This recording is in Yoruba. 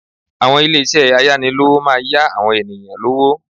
Àwọn ilésé ayánilówó máa yá àwọn ènìyàn lówó